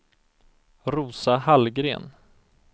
Rosa Hallgren